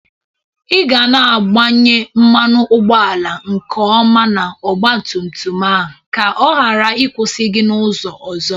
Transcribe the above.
Ị ga na-agbanye mmanụ ụgbọala nke ọma n'ọgbatumtum a ka ọ ghara ikwusi gi n'ụzọ ọzọ